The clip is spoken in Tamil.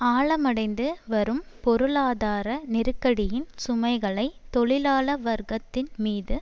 ஆழமடைந்து வரும் பொருளாதார நெருக்கடியின் சுமைகளை தொழிலாள வர்க்கத்தின் மீது